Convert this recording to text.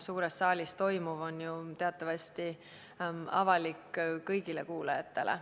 Suures saalis toimuv on teatavasti avalik kõigile kuulajatele.